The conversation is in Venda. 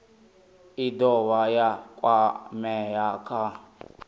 i dovha ya kwamea kha